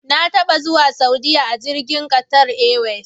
Na taba zuwa Saudiya a jirgin Qatar Airways.